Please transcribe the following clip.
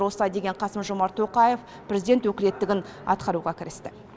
осылай деген қасым жомарт тоқаев президент өкілеттігін атқаруға кірісті